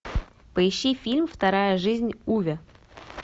поищи фильм вторая жизнь уве